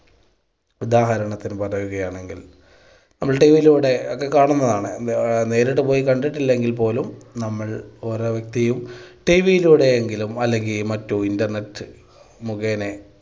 ഉദാഹരണത്തിന് പറയുകയാണെങ്കിൽ നമ്മൾ TV യിലൂടെ ഒക്കെ കാണുന്നതാണ് നേരിട്ട് പോയി കണ്ടിട്ടില്ലെങ്കിൽ പോലും നമ്മൾ ഓരോ വ്യക്തിയും TV യിലൂടെയെങ്കിലും അല്ലെങ്കിൽ മറ്റ് internet മുഖേനെ